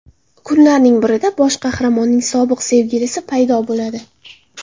Kunlarning birida bosh qahramonning sobiq sevgilisi paydo bo‘ladi.